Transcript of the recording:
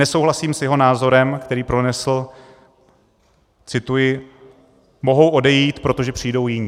Nesouhlasím s jeho názorem, který pronesl, cituji: "Mohou odejít, protože přijdou jiní."